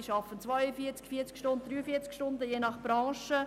sie arbeiten 42 oder 43 Stunden, je nach Branche;